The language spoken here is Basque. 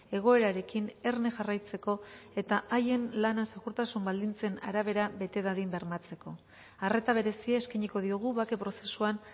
egoerarekin erne jarraitzeko eta haien lana segurtasun baldintzen arabera bete dadin bermatzeko arreta berezia eskainiko diogu bake prozesuan